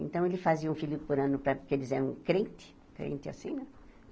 Então, ele fazia um filho por ano, para porque eles eram crentes, crente é assim, né?